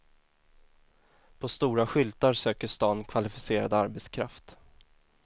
På stora skyltar söker stan kvalificerad arbetskraft.